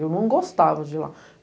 Eu não gostava de lá.